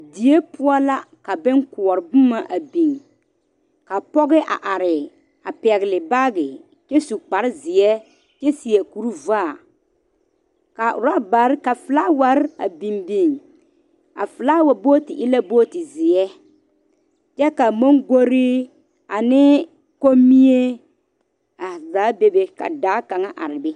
Die poɔ la ka boŋ kɔre boma a biŋ ka pɔge a are a pegle baagi kyɛ su kpare ziɛ kyɛ seɛ kuri vaa ka orobaare ka filaaware a biŋ biŋ a filaawa bogiti e la bogiti ziɛ kyɛ ka mongɔre ane komie a zaa bebe ka daa kaŋa are be.